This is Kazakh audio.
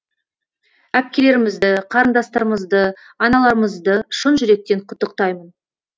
әпкелерімізді қарындастарымызды аналарымызды шын жүректен құттықтаймын